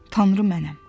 Tanrı mənəm.